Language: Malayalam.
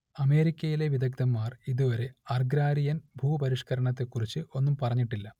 അമേരിക്കയിലെ വിദഗ്ദ്ധന്മാർ ഇതുവരെ അർഗ്രാരിയൻ ഭൂപരിഷ്കരണത്തെക്കുറിച്ച് ഒന്നും പറഞ്ഞിട്ടില്ല